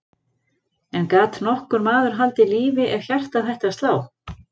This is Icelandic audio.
En gat nokkur maður haldið lífi ef hjartað hætti að slá?